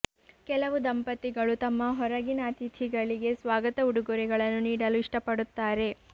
ಕೆಲವು ದಂಪತಿಗಳು ತಮ್ಮ ಹೊರಗಿನ ಅತಿಥಿಗಳಿಗೆ ಸ್ವಾಗತ ಉಡುಗೊರೆಗಳನ್ನು ನೀಡಲು ಇಷ್ಟಪಡುತ್ತಾರೆ